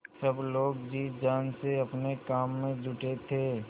सब लोग जी जान से अपने काम में जुटे थे